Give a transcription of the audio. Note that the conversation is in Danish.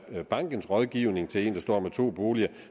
at bankens rådgivning til en der står med to boliger